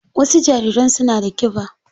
Wasu jariran suna da kiba.